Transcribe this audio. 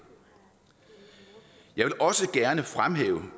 jeg også gerne fremhæve